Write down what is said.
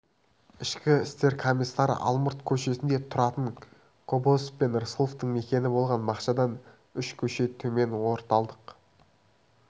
ішкі істер комиссары алмұрт көшесінде тұратын кобозев пен рысқұловтың мекені болған бақшадан үш кеше төмен орталық